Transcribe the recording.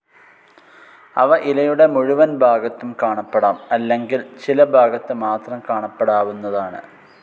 അവ ഇലയുടെ മുഴുവൻ ഭാഗത്തും കാണപ്പെടാം അല്ലെങ്കിൽ ചില ഭാഗത്ത് മാത്രം കാണപ്പെടാവുന്നതാണ്.